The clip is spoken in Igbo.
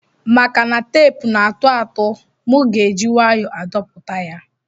Maka na tepu na atụatu mu ga eji nwayo adpoputa ya.